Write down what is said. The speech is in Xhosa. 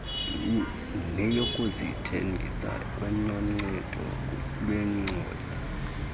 neyokuzithengisa kwanoncedo lweengcali